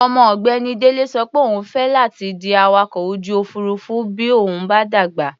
Ọmọ ọ̀gbẹ́ni Délé sọ pé òun fẹ́ láti di awakọ̀-ojú-òfuurufú bí òun bá dàgbà.